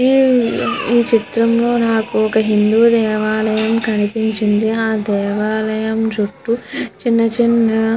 ఈ చిత్రం లో నాకు ఒక హిందు దేవాలయం కనిపించింది ఆ దేవాలయం చుట్టూ చిన్న చిన్న --